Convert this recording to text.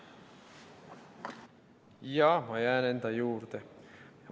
Jaa, ma jään enda juurde.